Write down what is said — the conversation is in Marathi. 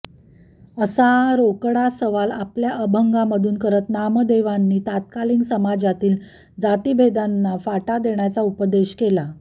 असा रोकडा सवाल आपल्या अभंगांमधून करत नामदेवांनी तत्कालीन समाजातील जातीभेदांना फाटा देण्याचा उपदेश केला